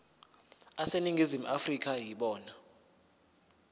aseningizimu afrika yibona